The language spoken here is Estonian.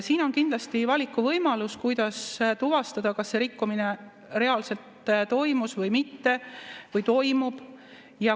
Siin on kindlasti valikuvõimalus, kuidas tuvastada, kas see rikkumine reaalselt toimus või mitte või toimub.